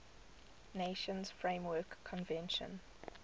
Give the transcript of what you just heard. nations framework convention